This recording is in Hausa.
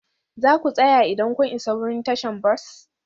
Za ku tsaya idan kun isa wurin tashar bas?